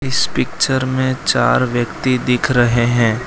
इस पिक्चर में चार व्यक्ति दिख रहे हैं।